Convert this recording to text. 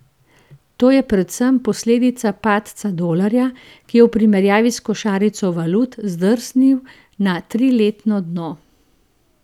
To je predvsem posledica padca dolarja, ki je v primerjavi s košarico valut zdrsnil na triletno dno.